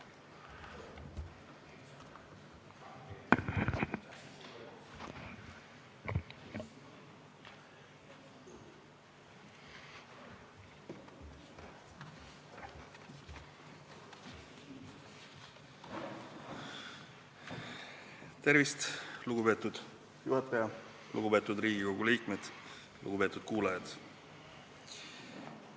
Tervist, lugupeetud juhataja, lugupeetud Riigikogu liikmed, lugupeetud kuulajad!